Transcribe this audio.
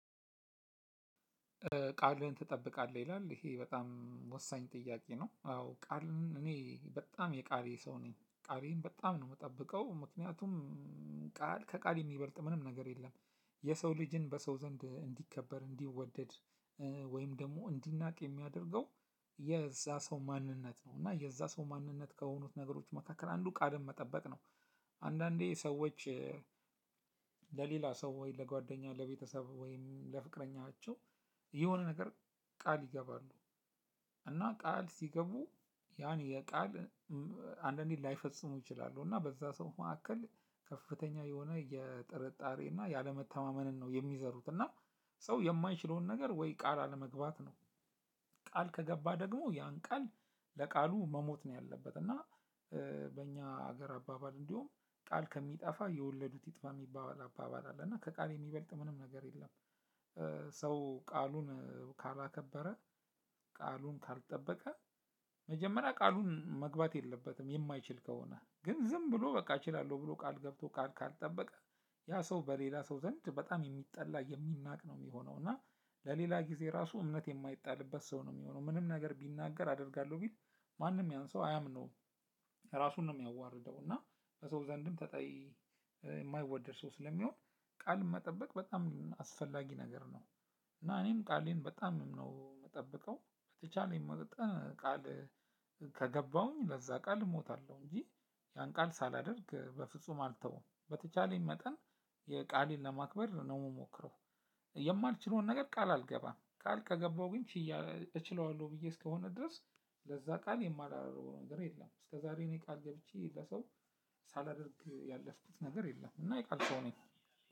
ቃልህን ትጠብቃለህ ይላል ይሄ በጣም ወሳኝ ጥያቄ ነው? አዎ ቃልን እኔ በጣም የቃሌ ሰው ነኝ ቃሌን በጣም ነው የምጠብቀው ምክንያቱም ቃል ከቃል የሚበልጥ ምንም ነገር የለም። የሰው ልጅን በሰው ዘንድ እንዲከበር እንዲወደድ ወይም ደግሞ እንዲናቅ የሚያደርገው የዛ ሰው ማንነት ነው እና የዛ ሰው ማንነት ከሆኑት ነገሮች መካከል አንዱ ቃልን መጠበቅ ነው። ቃል ከቃል የሚበልጥ ምንም ነገር የለም። የሰው ልጅን በሰው ዘንድ እንዲከበር እንዲወደድ ወይም ደግሞ እንዲናቅ የሚያደርገው። እና ቃል ሲገቡ ያን የቃል አንዳንዴ ላይፈጽሙ ይችላሉ። እና በዛ ሰው መካከል ከፍተኛ የሆነ የጥርጣሬ እና ያለመተማመንን ነው የሚዘሩት። እና ሰው የማይችለውን ነገር ወይ ቃል አለመግባት ነው። ቃል ከገባ ደግሞ ያን ቃል ለቃሉ መሞት ነው ያለበት እና። በእኛ ሀገር አባባል እንዲሁም ቃል ከሚጠፋ የወለዱት ይጥፋ የሚባባል አባባል አለ እና ከቃል የሚበልጥ ምንም ነገር የለም። ሰው ቃሉን ካላከበረ ቃሉን ካልጠበቀ መጀመሪያ ቃሉን መግባት የለበትም የማይችል ከሆነ ግን ዝም ብሎ በቃ እችላለሁ ብሎ ቃል ገብቶ ቃል ካልጠበቀ። ያ ሰው በሌላ ሰው ዘንድ የሚጠላ የሚናቅ ነው የሚሆነው። እና ለሌላ ጊዜ ራሱ እምነት የማይጣልበት ሰው ነው የሚሆነው። ምንም ነገር ቢናገር አደርጋለሁ ቢል ማንም ያን ሰው አያምነውም። ራሱን ነው የሚያዋርደው እና በሰው ዘንድም ተጠይ የማይወደድ ሰው ስለሚሆን ቃል መጠበቅ በጣም አስፈላጊ ነገር ነው። እና እኔም ቃሌን በጣም ነው የምጠብቀው። በተቻለኝ መጠን ቃል ከገባሁኝ ለዛ ቃል እሞታለሁ እንጂ ያን ቃል ሳላደርግ በፍጹም አልተውም በተቻለኝ መጠን የቃሌን ለማክበር ነው የምሞክረው። የማልችለውን ነገር ቃል አልገባም ቃል ከገባው ግን ችያለ እችለዋለሁ ብዬ እስከሆነ ድረስ ለዛ ቃል የማላደርገው ነገር የለም። እስከዛሬ እኔ ቃል ገብቼ ለሰው ሳላደርግ ያለፍኩት ነገር የለም እና የቃል ሰው ነኝ።